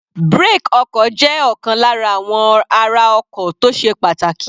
Brake ọkọ̀ jẹ́ ọ̀kan lára àwọn ara ọkọ̀ tó sé pàtàkì.